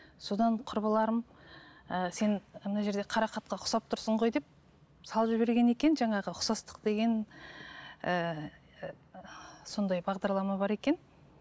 содан құрбыларым ыыы сен мына жерде қарақатқа ұқсап тұрсың ғой деп салып жіберген екен жаңағы ұқсастық деген ііі сондай бағдарлама бар екен